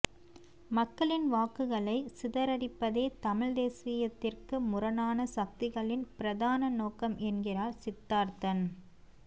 மக்களின் வாக்குகளை சிதறடிப்பதே தமிழ் தேசியத்திற்கு முரணான சக்திகளின் பிரதான நோக்கம் என்கிறார் சித்தார்த்தன்